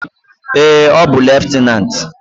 Ee, ọ bụ leftenant.